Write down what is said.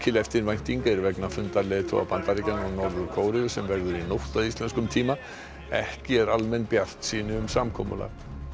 eftirvænting er vegna fundar leiðtoga Bandaríkjanna og Norður Kóreu sem verður í nótt að íslenskum tíma ekki er almenn bjartsýni um samkomulag